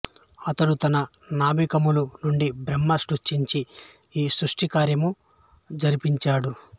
అతడు తన నాభికమలము నుండి బ్రహ్మను సృష్టించి ఈ సృష్టికార్యము జరిపంచాడు